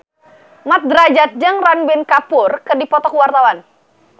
Mat Drajat jeung Ranbir Kapoor keur dipoto ku wartawan